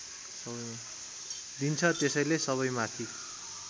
दिन्छ त्यसैले सबैमाथि